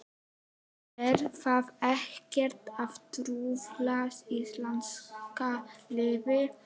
Er það ekkert að trufla íslenska liðið?